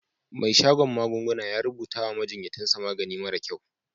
Mai shadon magunguna ya rubuta wa majinyatan sa magani mara kyau.